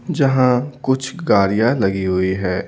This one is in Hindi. जहां कुछ गाड़ियां लगी हुई है।